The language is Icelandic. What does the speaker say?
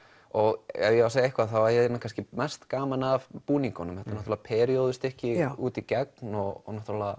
og ef ég á að segja eitthvað þá hef ég kannski mest gaman af búningunum þetta er út í gegn og